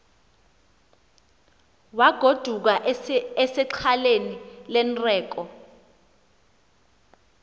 wagoduka esexhaleni lerneko